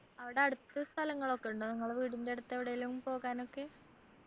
അവിടെ അടുത്ത് സ്ഥലങ്ങളൊക്കെ ഉണ്ടോ നിങ്ങള്ടെ വീടിൻ്റെ അടുത്ത് എവിടേലും പോകാനൊക്കെ